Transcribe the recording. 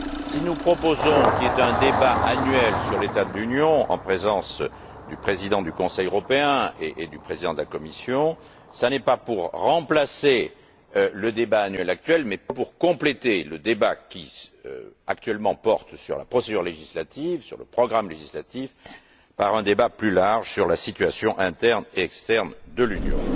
Si nous proposons qu'il y ait un débat annuel sur l'état de l'Union en présence du président du Conseil européen et du président de la Commission, ce n'est pas pour remplacer le débat annuel actuel mais pour compléter le débat qui, actuellement, porte sur le programme législatif par un débat plus large sur la situation interne et externe de l'Union.